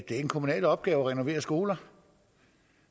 er en kommunal opgave at renovere skoler